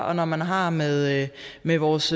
og når man har med med vores